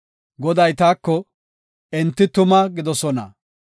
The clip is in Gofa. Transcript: Goday taako, “Enti tuma gidoosona.